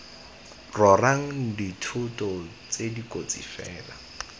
rorang dithoto tse dikotsi fela